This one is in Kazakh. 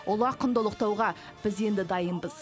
ұлы ақынды ұлықтауға біз енді дайынбыз